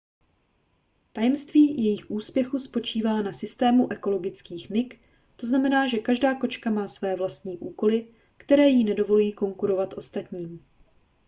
tajemství jejich úspěchu spočívá na systému ekologických nik tzn že každá kočka má své vlastní úkoly které jí nedovolují konkurovat ostatním